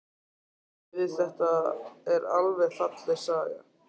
Hún bætti við: Þetta er falleg saga.